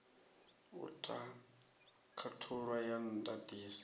u ta khathulo ya ndatiso